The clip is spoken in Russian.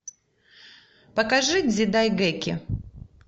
покажи дзидайгэки